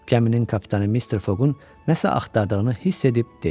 Gəminin kapitanı Mr. Foqun nəsə axtardığını hiss edib dedi: